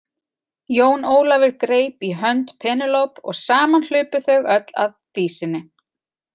Jón Ólafur greip í hönd Penélope og saman hlupu þau öll að Dísinni.